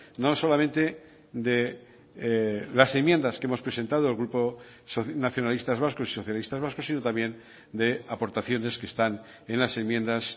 no solamente de las enmiendas que hemos presentado el grupo nacionalistas vascos y socialistas vascos sino también de aportaciones que están en las enmiendas